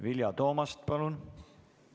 Vilja Toomast, palun!